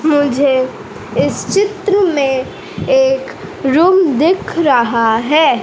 मुझे इस चित्र मे एक रूम दिख रहा है।